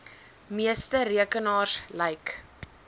meeste rekenaars lyk